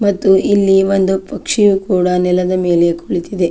ಮತ್ತು ಇಲ್ಲಿ ಒಂದು ಪಕ್ಷಿಯು ಕೂಡ ನೆಲದ ಮೇಲೆ ಕುಳಿತಿದೆ.